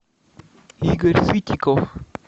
игорь сытиков